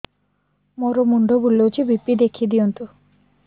ମୋର ମୁଣ୍ଡ ବୁଲେଛି ବି.ପି ଦେଖି ଦିଅନ୍ତୁ